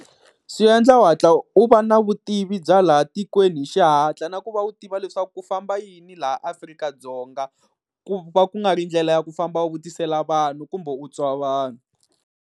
Swi endla u hatla u va na vutivi bya laha tikweni hi xihatla, na ku va u tiva leswaku ku famba yini laha Afrika-Dzonga, ku va ku nga ri ndlela ya ku famba u vutisela vanhu kumbe u twa vanhu.